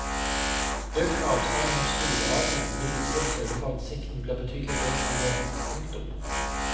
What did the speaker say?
Økt avstand mellom stolradene vil likevel sørge for at sikten blir betydelig bedre enn nå. punktum